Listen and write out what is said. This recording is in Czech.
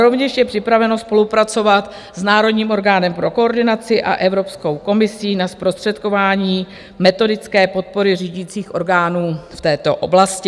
Rovněž je připraveno spolupracovat s národním orgánem pro koordinaci a Evropskou komisí na zprostředkování metodické podpory řídících orgánů v této oblasti.